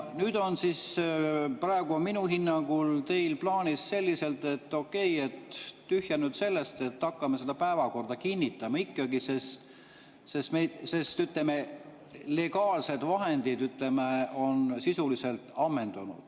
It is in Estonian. Nüüd on siis minu hinnangul teil plaanis, et okei, tühja nüüd sellest, hakkame päevakorda kinnitama ikkagi, sest, ütleme, legaalsed vahendid on sisuliselt ammendunud.